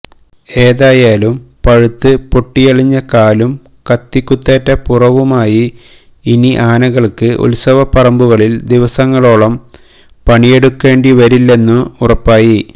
ഏതായാലും പഴുത്ത് പൊട്ടിയളിഞ്ഞ കാലും കത്തികുത്തേറ്റ പുറവുമായി ഇനി ആനകൾക്ക് ഉൽസവ പറമ്പുകളിൽ ദിവസങ്ങളോളം പണിയെടുക്കേണ്ടി വരില്ലെന്നു ഉറപ്പായി